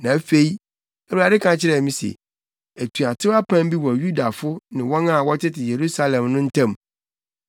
Na afei Awurade ka kyerɛɛ me se, “Atuatew apam bi wɔ Yudafo ne wɔn a wɔtete Yerusalem no ntam.